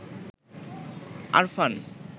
Arfan